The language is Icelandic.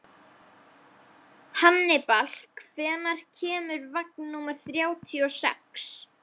Hannibal, hvenær kemur vagn númer þrjátíu og sex?